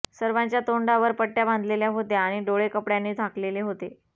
सर्वांच्या तोंडावर पट्ट्या बांधलेल्या होत्या आणि डोळे कपड्याने झाकलेले होते